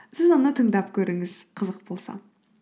сіз оны тыңдап көріңіз қызық болса